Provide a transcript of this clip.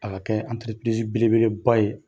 A bɛ kɛɛ belebeleba ye.